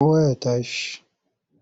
Kowa ya tashi!